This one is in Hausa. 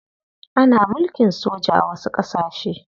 Ana mulkin soja a wasu ƙasashe.